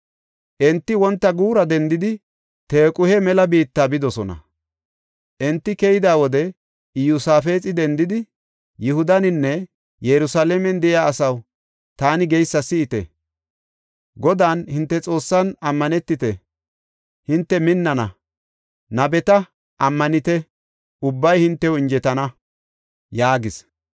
Enti wonta guura dendidi Tequhe mela biitta bidosona. Enti keyida wode Iyosaafexi dendi, “Yihudaninne Yerusalaamen de7iya asaw taani geysa si7ite. Godan, hinte Xoossan ammanetite; hinte minnana; nabeta ammanite ubbay hintew injetana” yaagis.